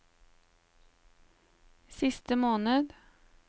siste måned